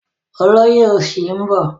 Olóyè òsì ń bọ̀.